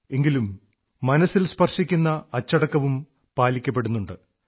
എങ്കിലും മനസ്സിൽ സ്പർശിക്കുന്ന അച്ചടക്കവും പാലിക്കപ്പെടുന്നുണ്ട്